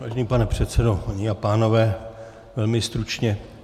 Vážený pane předsedo, dámy a pánové, velmi stručně.